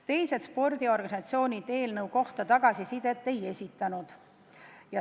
Teised spordiorganisatsioonid eelnõu kohta tagasisidet ei andnud.